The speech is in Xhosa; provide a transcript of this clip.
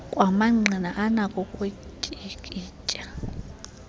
kwamangqina anakho ukutyikitya